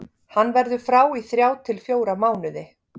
Hann verður frá í þrjá til fjóra mánuði.